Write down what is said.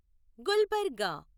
Gulbarga